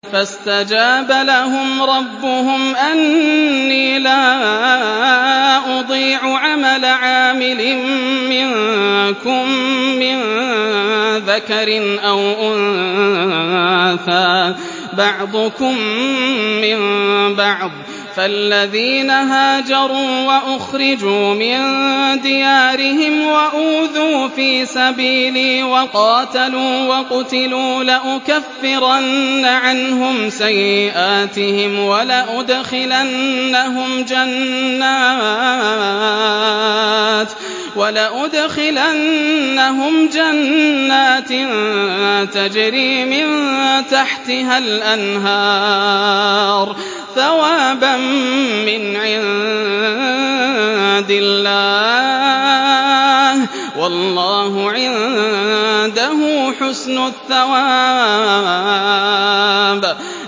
فَاسْتَجَابَ لَهُمْ رَبُّهُمْ أَنِّي لَا أُضِيعُ عَمَلَ عَامِلٍ مِّنكُم مِّن ذَكَرٍ أَوْ أُنثَىٰ ۖ بَعْضُكُم مِّن بَعْضٍ ۖ فَالَّذِينَ هَاجَرُوا وَأُخْرِجُوا مِن دِيَارِهِمْ وَأُوذُوا فِي سَبِيلِي وَقَاتَلُوا وَقُتِلُوا لَأُكَفِّرَنَّ عَنْهُمْ سَيِّئَاتِهِمْ وَلَأُدْخِلَنَّهُمْ جَنَّاتٍ تَجْرِي مِن تَحْتِهَا الْأَنْهَارُ ثَوَابًا مِّنْ عِندِ اللَّهِ ۗ وَاللَّهُ عِندَهُ حُسْنُ الثَّوَابِ